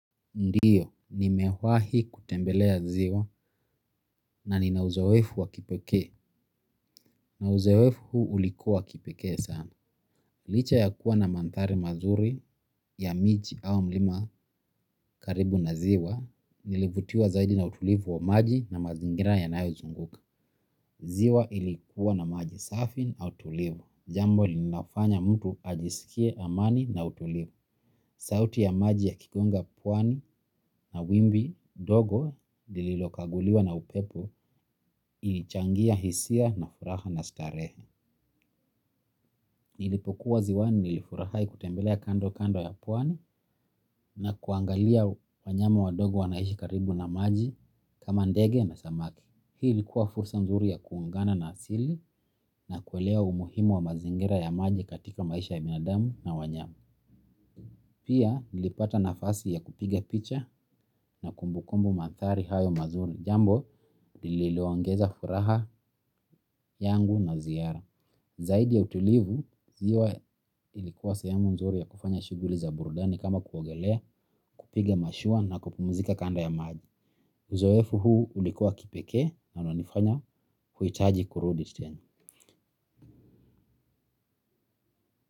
Ndiyo, nimewahi kutembelea ziwa na nina uzoefu wa kipekee. Na uzoefu ulikuwa wa kipekee sana. Licha ya kuwa na mandhari mazuri ya miji au mlima karibu na ziwa, nilivutiwa zaidi na utulivu wa maji na mazingira yanayozunguka. Ziwa ilikuwa na maji safi au tulivu. Jambo linafanya mtu ajisikie amani na utulivu. Sauti ya maji yakigonga pwani na wimbi dogo lililokaguliwa na upepo ilichangia hisia na furaha na starehe. Nilipokuwa ziwani nilifurahi kutembelea kandokando ya pwani na kuangalia wanyama wadogo wanaishi karibu na maji kama ndege na samaki. Hii ilikuwa fursa nzuri ya kuungana na asili na kuelewa umuhimu wa mazingira ya maji katika maisha ya binadamu na wanyama. Pia nilipata nafasi ya kupiga picha na kumbukumbu mandhari hayo mazuri, jambo lililoongeza furaha yangu na ziara. Zaidi ya utulivu, ziwa ilikuwa sehemu nzuri ya kufanya shughuli za burudani kama kuogelea kupiga mashua na kupumzika kando ya maji. Uzoefu huu ulikuwa wa kipekee na unanifanya uhitaji kurudi tena.